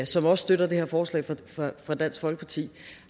som også støtter det her forslag fra dansk folkeparti